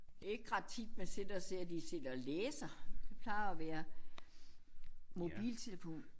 Ikke ret tit man sidder ser de sidder og læser det plejer at være mobiltelefon